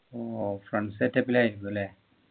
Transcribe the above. ഓ friends set up ലായിരിക്കും അല്ലെ